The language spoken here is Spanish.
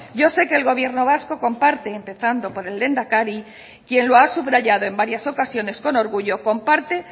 yo sé que el gobierno vasco comparte empezando por el lehendakari quien lo ha subrayado en varias ocasiones con orgullo comparte